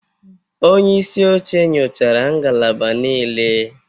Onye isi oche nyochara ngalaba niile